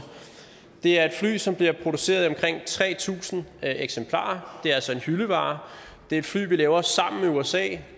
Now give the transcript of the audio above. det er et fly som bliver produceret i omkring tre tusind eksemplarer det er altså en hyldevare det er et fly vi laver sammen med usa